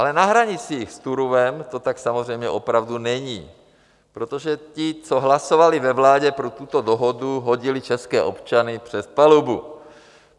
Ale na hranicích s Turówem to tak samozřejmě opravdu není, protože ti, co hlasovali ve vládě pro tuto dohodu, hodili české občany přes palubu.